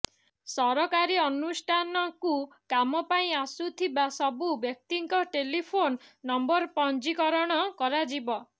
ସରକାରୀ ଅନୁଷ୍ଠାନକୁ କାମ ପାଇଁ ଆସୁଥିବା ସବୁ ବ୍ୟକ୍ତିଙ୍କ ଟେଲିଫୋନ ନମ୍ବର ପଞ୍ଜୀକରଣ କରାଯିବ